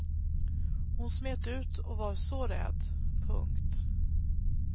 Hon smet ut och var så rädd. punkt